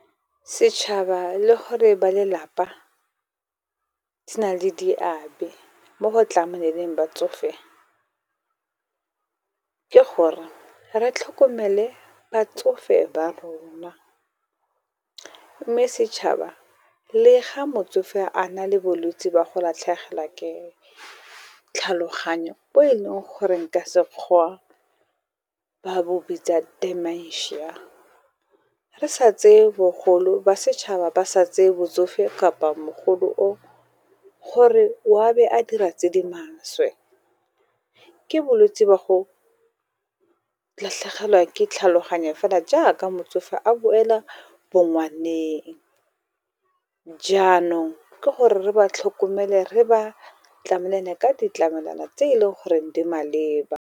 Setšhaba le gore ba lelapa di na le diabe mo go tlameleng batsofe, ke gore re tlhokomele batsofe ba rona. Mme setšhaba le ga motsofe a na le bolwetse ba go latlhegelwa ke tlhaloganyo, bo e leng gore ka sekgowa ba bo bitsa dimentia. Re sa tseye bogolo ba setšhaba ba sa tseye botsofe kapa mogolo o, gore wa be a dira tse di maswe. Ke bolwetse ba go latlhegelwa ke tlhaloganyo fela jaaka motsofe a boela bongwaneng. Jaanong ke gore re ba tlhokomele, re ba tlamele le ka ditlamelwana tse e le goreng di maleba.